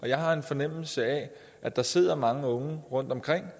jeg har en fornemmelse af at der sidder mange unge rundt omkring